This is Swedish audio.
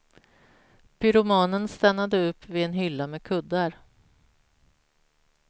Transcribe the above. Pyromanen stannade upp vid en hylla med kuddar.